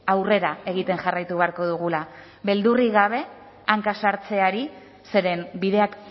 aurrera egiten jarraitu beharko dugula beldurrik gabe hanka sartzeari zeren bideak